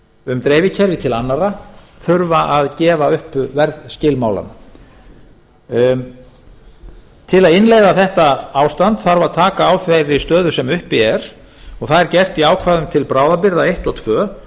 um dreifikerfi til annarra þurfa að gefa upp verðskilmálana til að innleiða þetta ástand þarf að taka á þeirri stöðu sem uppi er og það er gert í ákvæðum til bráðabirgða eins og tvö